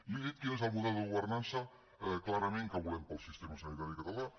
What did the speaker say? li he dit quin és el model de governança clarament que volem per al sistema sanitari català